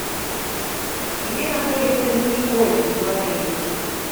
где находится мини гольф в отеле